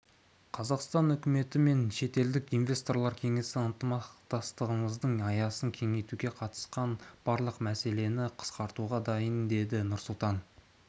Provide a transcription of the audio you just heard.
қазақстан үкіметі мен шетелдік инвесторлар кеңесі ынтымақтастығымыздың аясын кеңейтуге қатысты барлық мәселені қарастыруға дайын деді нұрсұлтан